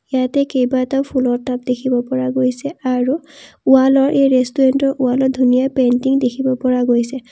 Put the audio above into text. ইয়াতে কেইবাটাও ফুলৰ টাব দেখিব পৰা গৈছে আৰু ওৱালৰ এই ৰেষ্টোৰেন্তৰ ৱালত ধুনীয়া পেইণ্টিং দেখিব পৰা গৈছে।